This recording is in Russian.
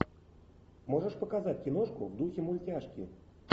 можешь показать киношку в духе мультяшки